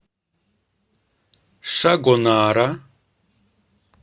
шагонара